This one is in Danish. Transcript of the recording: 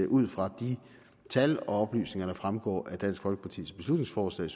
ud fra de tal og oplysninger der fremgår af dansk folkepartis beslutningsforslag